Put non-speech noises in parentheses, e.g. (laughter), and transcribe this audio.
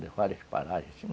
De várias, (unintelligible) assim.